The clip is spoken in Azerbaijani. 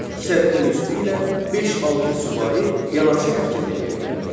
Səddin üstü ilə beş-altı süvari yanaşı hərəkət eləyə bilərdi.